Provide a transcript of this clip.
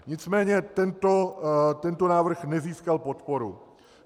Nicméně tento návrh nezískal podporu.